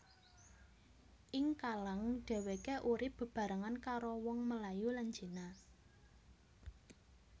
Ing Kallang deweké urip bebarengan karo wong Melayu lan Cina